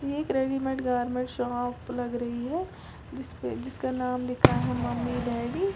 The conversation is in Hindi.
एक रेडीमेड गारमेंट्स शॉप लग रही है जिस पे जिसका नाम लिखा है मम्मी डैडी --